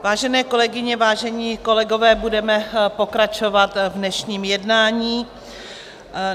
Vážené kolegyně, vážení kolegové, budeme pokračovat v dnešním jednání.